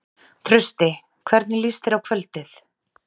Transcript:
Trausti, hvernig líst þér á kvöldið?